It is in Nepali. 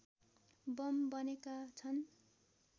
बम बनेका छन्